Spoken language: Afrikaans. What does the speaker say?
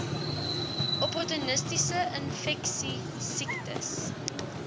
opportunistiese infeksies siektes